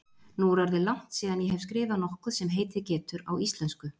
Nú er orðið langt síðan ég hef skrifað nokkuð sem heitið getur á íslensku.